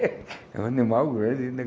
É um animal grande, né?